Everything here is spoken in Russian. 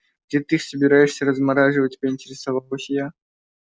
где ты их собираешься размораживать поинтересовалась я